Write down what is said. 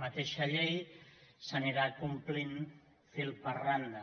mateixa llei s’anirà complint fil per randa